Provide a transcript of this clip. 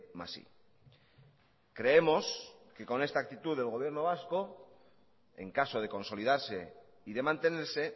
más i creemos que con esta actitud del gobierno vasco en caso de consolidarse y de mantenerse